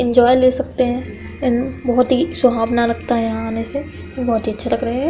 Enjoy ले सकते है इन बहुत ही सुहावना है यहाँ आने से बहोत ही अच्छा लग रहा है।